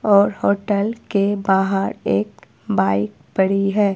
और होटल के बाहर एक बाइक पड़ी है।